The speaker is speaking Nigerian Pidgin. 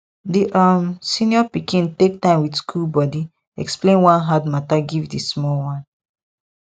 di um senior pikin take time with cool body explain one hard matter give di small one